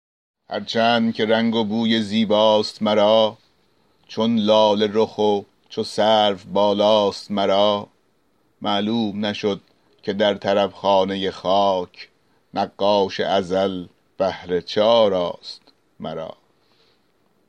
هر چند که رنگ و بوی زیباست مرا چون لاله رخ و چو سرو بالاست مرا معلوم نشد که در طرب خانه خاک نقاش ازل بهر چه آراست مرا